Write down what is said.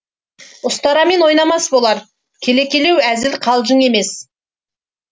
ұстарамен ойнамас болар келекелеу әзіл қалжың емес